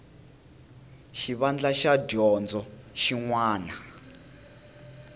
xivandla xa dyondzo xin wana